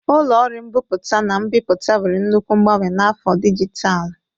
Ụlọ ọrụ mbipụta na mbipụta nwere nnukwu mgbanwe na afọ dijitalụ.